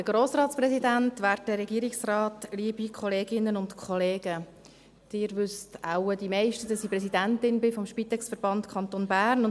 Die meisten von Ihnen wissen wohl, dass ich Präsidentin des SpitexVerbands des Kantons Bern bin.